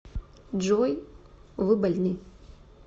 джой вы больны